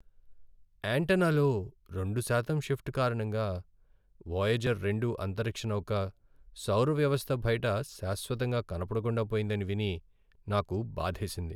యాంటెన్నాలో రెండు శాతం షిఫ్ట్ కారణంగా వోయేజర్ రెండు అంతరిక్ష నౌక సౌర వ్యవస్థ బయట శాశ్వతంగా కనబకుండా పోయిందని విని నాకు బాధేసింది.